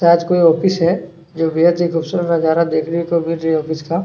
आज कोई ऑफिस है जो बेहत ही खूबसूरत नजारा देखने को मिल रही है ऑफिस का --